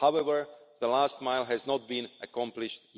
However, the last mile has not yet been accomplished.